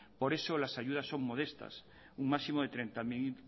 por eso las ayudas son modestas un máximo de treinta mil